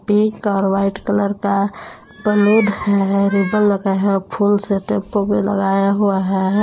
Pink और white colour का balloon है रिबन लगाए हैं फूल से टेंपो में लगाया हुआ है।